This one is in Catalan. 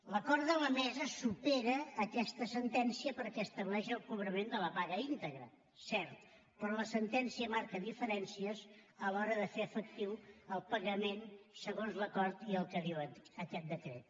l’acord de la mesa supera aquesta sentència perquè estableix el cobrament de la apaga íntegra cert però la sentència marca diferències a l’hora de fer efectiu el pagament segons l’acord i el que diu aquest decret